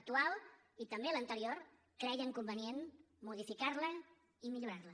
actual i també l’anterior creien convenient modificarla i millorarla